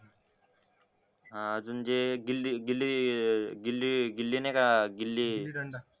हा अजून जे गिल्ली गिल्ली गिल्ली नाय का गिल्ली गिल्ली दंडा